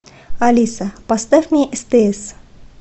алиса поставь мне стс